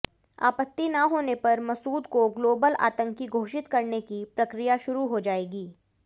आपत्ति न होने पर मसूद को ग्लोबल आतंकी घोषित करने की प्रक्रिया शुरू हो जाएगी